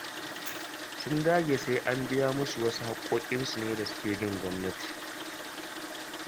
Sun dage sai an biya musu wasu haƙoƙinsu ne da suke bin gwamnati.